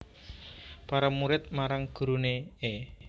Para murid marang gurune e